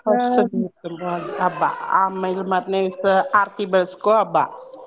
first ನೀರ್ ತುಂಬೊ ಹಬ್ಬಾ Babble ಅಮ್ಯಾ ಗ್ ಇದ್ರ್~ ಮಾರ್ನೆ ದಿವ್ಸ ಆರ್ತಿ ಬೆಳ್ಗಿಸೋ ಹಬ್ಬಾ.